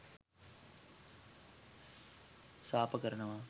සාප කරනවා.